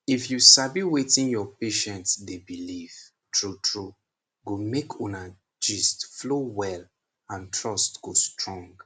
if you sabi wetin your patient dey believe true true go make una gist flow well and trust go strong.